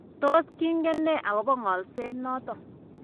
Tos kingen nee akobo ng'olset noton.?